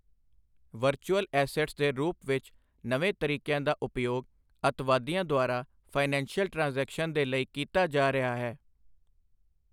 Virtual assets ਦੇ ਰੂਪ ਵਿੱਚ ਨਵੇਂ ਤਰੀਕਿਆਂ ਦਾ ਉਪਯੋਗ, ਅੱਤਵਾਦੀਆਂ ਦੁਆਰਾ ਫਾਇਨੈਂਸ਼ੀਅਲ ਟ੍ਰਾਂਜ਼ੈਕਸ਼ਨ ਦੇ ਲਈ ਕੀਤਾ ਜਾ ਰਿਹਾ ਹੈ।